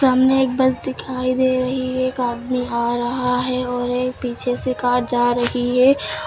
सामने एक बस दिखाई दे रही है। एक आदमी आ रहा है और एक पीछे से कार जा रही है।